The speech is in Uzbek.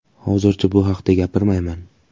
Hozircha bu haqda gapirmayman.